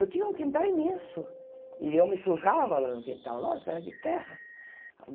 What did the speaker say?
Eu tinha um quintal imenso e eu me sujava lá no quintal, lógico, era de terra.